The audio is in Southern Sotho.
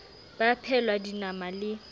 ba a phehelwa dinama le